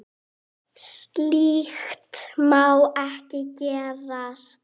Slíkt má ekki gerast.